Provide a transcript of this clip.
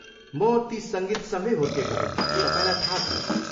म ती सङ्गीतसँगै हुर्केको हुँ, तपाईँलाई थाहा छ।